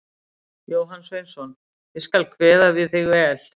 Jóhann Sveinsson: Ég skal kveða við þig vel.